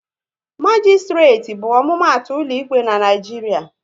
Magisitireti bụ omumatu ụlọ ikpe n'Naijiria